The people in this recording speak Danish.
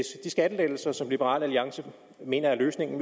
de skattelettelser som liberal alliance mener er løsningen